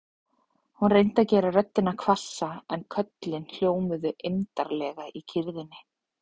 Hún reyndi að gera röddina hvassa en köllin hljómuðu eymdarlega í kyrrðinni.